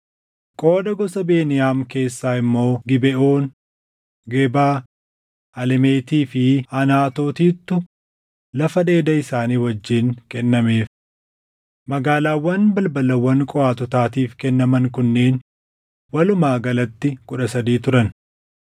Qooda gosa Beniyaam keessaa immoo Gibeʼoon, Gebaa, Alemetii fi Anaatootittu lafa dheeda isaanii wajjin ni kennameef. Magaalaawwan balbalawwan Qohaatotaatiif kennaman kunneen walumaa galatti kudha sadii turan.